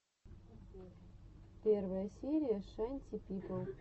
первая серия шанти пипл